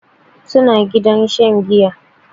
Su na cikin gidan shan giya.